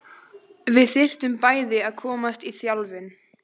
Við þyrftum bæði að komast í þjálfun.